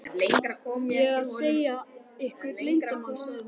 ég að segja ykkur leyndarmál? sagði hún.